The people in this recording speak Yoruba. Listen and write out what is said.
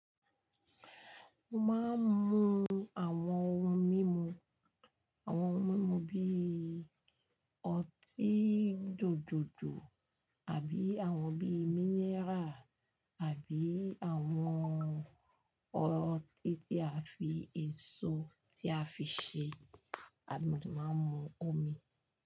Mo máa ń mu àwọn ohun mímu, àwọn ohun mímu bí i ọtí jòjòjò, àbí àwọn bíi mineral, àbí àwọn ọtí tí a fi èso tí a fi ṣe, àbí mo dá máa ń mu omi.